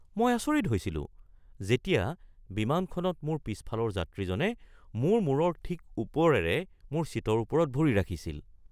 মই আচৰিত হৈছিলো যেতিয়া বিমানখনত মোৰ পিছফালৰ যাত্ৰীজনে মোৰ মূৰৰ ঠিক ওপৰেৰে মোৰ ছিটৰ ওপৰত ভৰি ৰাখিছিল!